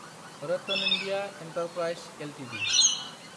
RattanIndia enterprises Ltd